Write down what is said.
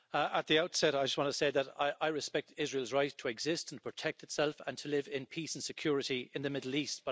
Mr President, at the outset I just want to say that I respect Israel's right to exist and protect itself and to live in peace and security in the Middle East.